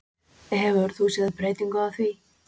Hefur þú séð breytingu á því?